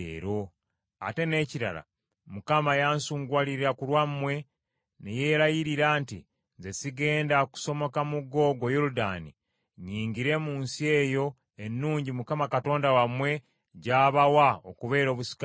“Ate n’ekirala, Mukama yansunguwalira ku lwammwe, ne yeerayirira nti nze sigenda kusomoka mugga ogwo Yoludaani nnyingire mu nsi eyo ennungi Mukama Katonda wammwe gy’abawa okubeera obusika bwammwe.